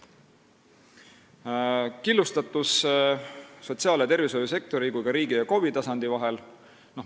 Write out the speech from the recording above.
Hoolduse korraldamine on killustunud nii sotsiaal- ja tervishoiusektori kui ka riigi ja KOV-i tasandi vahel.